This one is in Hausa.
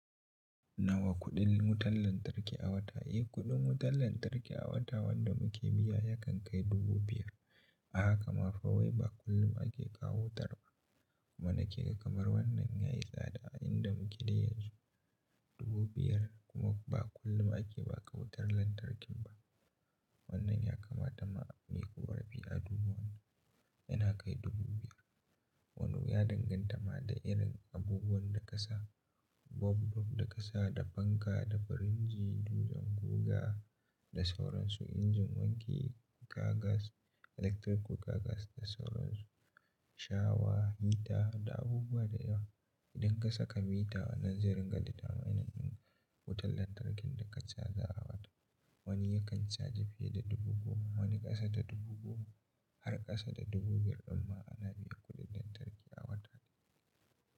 Nawa kuɗin wutan lantarki a wata eh? Eh, kuɗin wutar lantarki a wata wanda muke biya yakan kai dubu biyar. A haka ma fa wai ba kullum ake kawo wutar ba kuma nake kamar wannan yayi tsada a inda muke dai yanzu. Dubu biyar kuma ba kullum ake baƙa wutar lantarkin ba. Wannan ya kamata ma muyi korafi a duba wannan yana kai dubu biyar. Walau ya danganta ma da irin abubuwan da ka sa. Wa bulub da ka sa, da fanka, da firinji, dutsen guga da sauran su, injin wanki, ga gas, electirik kuka gas da sauran su, shawa, hita da abubuwa da yawa. Ku ka saka mita wannan zai ringa ditamainin din wutar lantarkin da ka chaza a wata. Wani yakan caji fiye da dubu goma, wani ƙasa da dubu goma har ƙasa da dubu biyar dimma ana biyan kuɗin lantarki a wata.